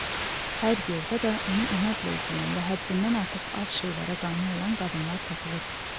Hər yerdə də onu inadla izləyən və həddindən artıq az şeylərə qane olan qadınlar tapılırdı.